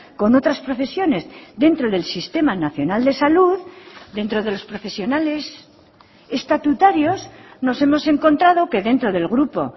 con otras profesiones dentro del sistema nacional de salud dentro de los profesionales estatutarios nos hemos encontrado que dentro del grupo